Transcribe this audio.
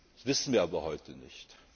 wird. Das wissen wir aber heute nicht.